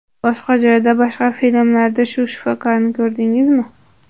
Boshqa joyda, boshqa filmlarda shu shifokorni ko‘rdingizmi?